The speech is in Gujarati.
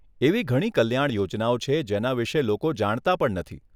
એવી ઘણી કલ્યાણ યોજનાઓ છે, જેના વિષે લોકો જાણતા પણ નથી.